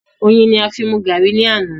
Oyin ni a fi mú garri ni àná.